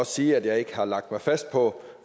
sige at jeg ikke har lagt mig fast på